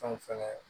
Fɛnw fɛnɛ